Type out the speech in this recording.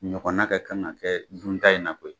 Ɲɔgɔna ka kan ka kɛ dun ta in na koyi